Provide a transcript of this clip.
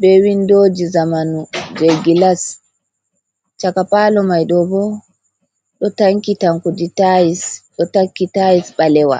be windooji zamanu je gilas. Chaka paalo mai ɗo bo ɗo tanki tankudi taais, ɗo takki taais ɓalewa.